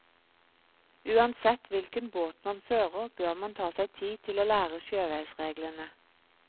Uansett hvilken båt man fører, bør man ta seg tid til å lære sjøveisreglene.